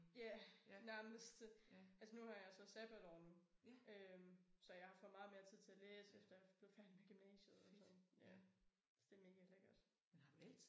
Ja nærmest. Altså nu har jeg så sabbatår nu øh så jeg har fået meget mere tid til at læse efter jeg er blevet færdig med gymnasiet og sådan ja så det megalækkert